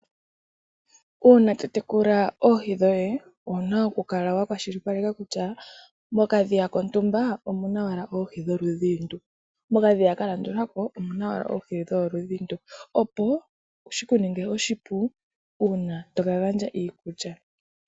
Uuna totekula oohi dhoye owuna okukala wakwashilipaleka kutya, mokadhiya kontumba omuna owala oohi dholudhi ndu, mokadhiya kalandulako omuna owala oohi dholudhi ndu. opo shikuningile oshipu uuna tokagandja iikulya.